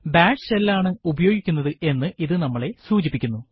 bash shell ആണ് ഉപയോഗിച്ചിരിക്കുന്നത് എന്ന് ഇത് നമ്മളെ സൂചിപ്പിക്കുന്നു